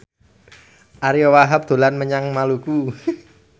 Ariyo Wahab dolan menyang Maluku